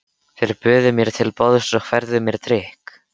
Þeir buðu mér til borðs og færðu mér drykk.